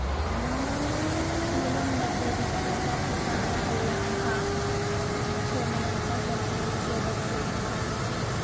मुलुंडमध्ये बिबट्याचा तिघांवर हल्ला, खा. सोमय्यांचा जखमीसोबत सेल्फी!